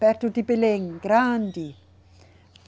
Perto de Belém, grande.